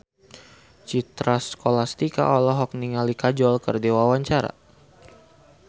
Citra Scholastika olohok ningali Kajol keur diwawancara